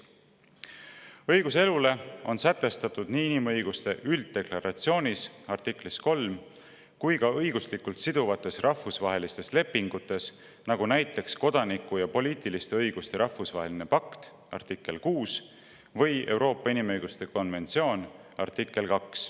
Õigus elule on sätestatud nii inimõiguste ülddeklaratsiooni artiklis 3 kui ka õiguslikult siduvates rahvusvahelistes lepingutes, nagu näiteks kodaniku‑ ja poliitiliste õiguste rahvusvahelise pakti artiklis 6 või Euroopa inimõiguste konventsiooni artiklis 2.